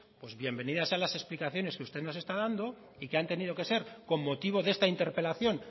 pues bienvenidas sean las explicaciones que usted nos está dando y que han tenido que ser con motivo de esta interpelación